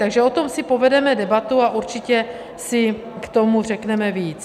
Takže o tom si povedeme debatu a určitě si k tomu řekneme víc.